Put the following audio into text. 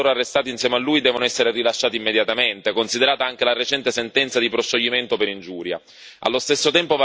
Hichilema e tutti coloro che sono stati arrestati insieme a lui devono essere rilasciati immediatamente, considerata anche la recente sentenza di proscioglimento per ingiuria.